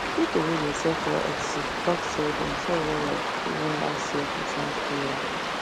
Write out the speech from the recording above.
people wey dey sell for etsy talk say dem sell well well during last year christmas period